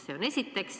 Seda esiteks.